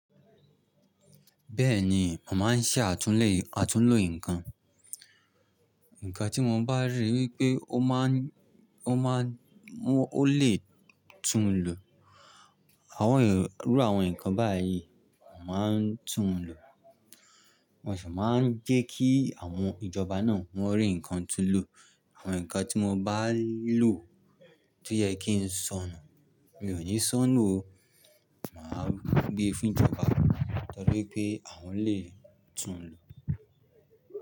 Bẹ́ẹ̀ni, mo màá ń ṣẹ àtúnlè, àtúnlo nǹkan. Ǹkan tí mo bá rí wípé ó ma ń, ó ma ń, ó lè tún un lò. Àwọn èrò, irú àwọn nǹkan báyìí, màá ń tún un lò. Mo sì máa ń jẹ́ kí àwọn ìjọba náà wọ́n rí nǹkan tún lò. Àwọn nǹkan tí mo bá lò tó yẹ kí n sọnù, mi ò ní sọnù o, màá gbé e fún ìjọba torí pé àwọn lè tún un lò.